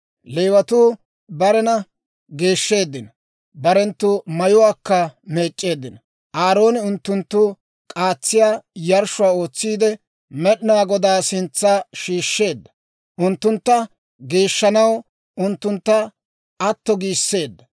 Leewatuu barena geeshsheeddino; barenttu mayuwaakka meec'c'eeddino. Aarooni unttunttu k'aatsiyaa yarshshuwaa ootsiide, Med'inaa Godaa sintsa shiishsheedda; unttuntta geeshshanaw unttuntta atto giisseedda.